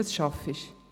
«Was arbeitest du?»